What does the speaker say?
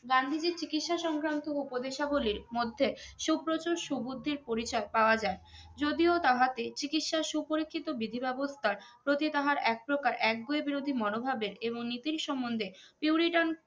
গান্ধীজি চিকিৎসা সংক্রান্ত উপদেশাবলির মধ্যে সুপ্রচুর সুবুদ্ধির পরিচয় পাওয়া যায় যদিও তাহাকে চিকিৎসার সুপরিক্ষিত বিধি ব্যবস্থার প্রতি তাহার একপ্রকার একগুঁয়ে বিরোধি মনোভাবেদ এবং নিতির সম্বন্ধে ureturn